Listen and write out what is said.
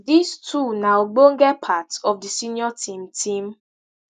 dis two na ogbonge part of di senior team team